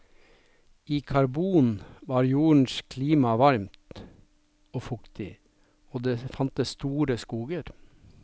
I karbon var jordens klima varmt og fuktig og det fantes store skoger.